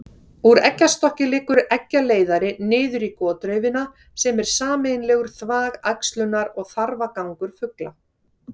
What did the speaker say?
Úr eggjastokki liggur eggjaleiðari niður í gotraufina sem er sameiginlegur þvag, æxlunar- og þarfagangur fugla.